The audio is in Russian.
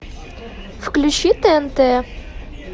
включи тнт